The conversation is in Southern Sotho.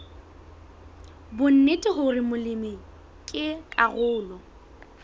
bonnete hore molemi ke karolo